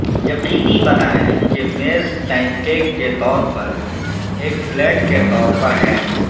یقینی بنائیں کہ میز پینکیک کے طور پر ایک فلیٹ کے طور پر ہے